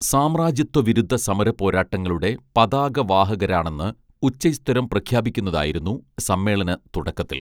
സാമ്രാജ്യത്വ വിരുദ്ധ സമര പോരാട്ടങ്ങളുടെ പതാക വാഹകരാണെന്ന് ഉച്ചൈസ്തരം പ്രഖ്യാപിക്കുന്നതായിരുന്നു സമ്മേളന തുടക്കത്തിൽ